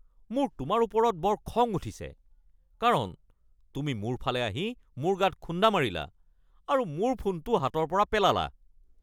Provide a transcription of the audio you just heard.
মোৰ তোমাৰ ওপৰত বৰ খং উঠিছে কাৰণ তুমি মোৰ ফালে আহি মোৰ গাত খুণ্ডা মাৰিলা আৰু মোৰ ফোনটো হাতৰ পৰা পেলালা।